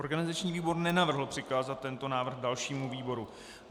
Organizační výbor nenavrhl přikázat tento návrh dalšímu výboru.